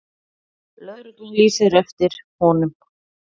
Lögregla lýsir eftir honum.